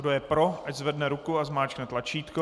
Kdo je pro, ať zvedne ruku a zmáčkne tlačítko.